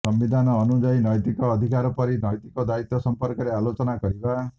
ସମ୍ବିଧାନ ଅନୁଯାଇ ନୈତିକ ଅଧିକାର ପରି ନୈତିକ ଦାୟିତ୍ୱ ସମ୍ପର୍କରେ ଆଲୋଚନା କରିବା